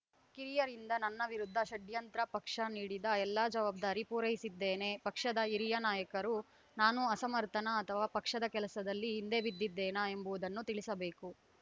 ಕಿರಿಯರಿಂದ ನನ್ನ ವಿರುದ್ಧ ಷಡ್ಯಂತ್ರ ಪಕ್ಷ ನೀಡಿದ ಎಲ್ಲಾ ಜವಾಬ್ದಾರಿ ಪೂರೈಸಿದ್ದೇನೆ ಪಕ್ಷದ ಹಿರಿಯ ನಾಯಕರು ನಾನು ಅಸಮರ್ಥನಾ ಅಥವಾ ಪಕ್ಷದ ಕೆಲಸದಲ್ಲಿ ಹಿಂದೆ ಬಿದ್ದಿದ್ದೇನಾ ಎಂಬುದನ್ನು ತಿಳಿಸಬೇಕು